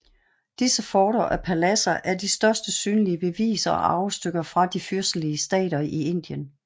Disse forter og paladser er de største synlige beviser og arvestykker fra de fyrstelige stater i Indien